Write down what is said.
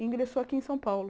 E ingressou aqui em São Paulo.